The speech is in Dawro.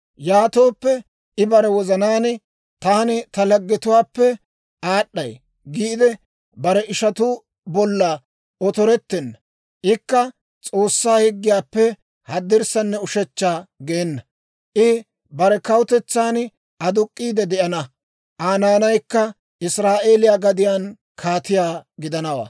Yaatooppe, I bare wozanaan, ‹Taani ta laggetuwaappe aad'd'ay› giide bare ishanttu bolla otorettenna. Ikka S'oossaa higgiyaappe haddirssanne ushechcha geena. I bare kawutetsan aduk'k'iide de'ana; Aa naanaykka Israa'eeliyaa gadiyaan kaatiyaa gidanawaa.